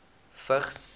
vigs